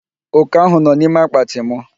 Oke ahụ nọ n'ime akpatị mụ.